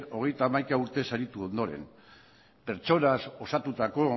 hogeita hamaika urte saritu ondoren pertsonaz osatutako